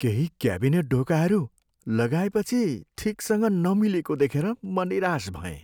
केही क्याबिनेट ढोकाहरू लगाएपछि ठिकसँग नमिलेको देखेर म निराश भएँ।